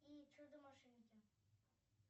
и чудо машинки